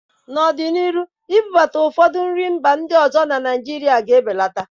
N'ọdịnihu, ibubata ụfọdụ nri mba ọzọ na Naijirịa ga-ebeleta.